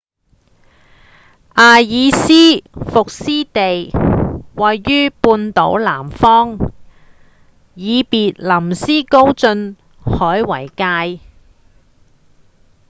埃爾斯沃思地位於半島南方以別林斯高晉海為界